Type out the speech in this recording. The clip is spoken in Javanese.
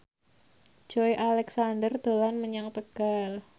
Joey Alexander dolan menyang Tegal